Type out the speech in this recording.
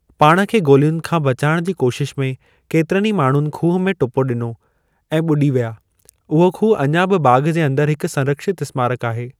पाण खे गोलियुनि खां बचाइण जी कोशिश में केतिरनि ई माणहुनि खूह में टुपो ॾिनो ऐं ॿुॾी विया, उहो खूह अञा बि बाग़ जे अंदर हिक संरक्षित स्मारक आहे।